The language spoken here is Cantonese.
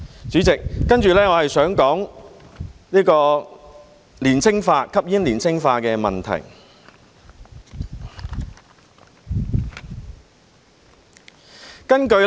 主席，接着我想談談吸煙年青化的問題。